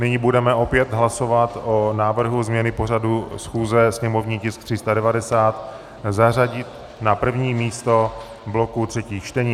Nyní budeme opět hlasovat o návrhu změny pořadu schůze, sněmovní tisk 390 zařadit na první místo bloku třetích čtení.